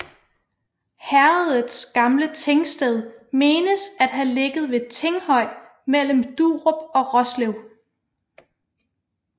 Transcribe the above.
Herredets gamle tingsted menes at have ligget ved Tinghøj mellem Durup og Roslev